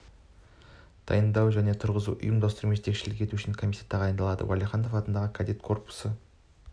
дайындау және тұрғызуды ұйымдастыру мен жетекшілік ету үшін комиссия тағайындалды уәлиханов атындағы кадет корпусы